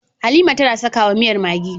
Halima tAna saka wa miyar maggi